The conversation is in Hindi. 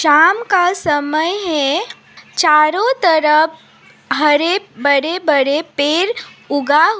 शाम का समय है चारों तरफ हरे बड़े बड़े पेर उगा हुआ--